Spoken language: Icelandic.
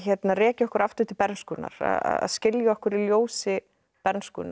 rekja okkur aftur til bernskunnar að skilja okkur í ljósi bernskunnar